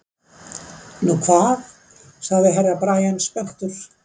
Nú hvað sagði Herra Brian spenntur.